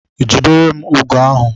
Jidere m ugo ahu!